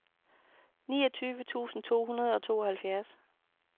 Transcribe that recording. niogtyve tusind to hundrede og tooghalvfjerds